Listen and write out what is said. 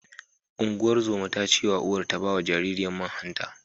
Ungozomar ta ce wa uwar ta ba wa jaririyar man hanta.